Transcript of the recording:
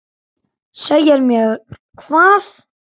Segja mér hvað?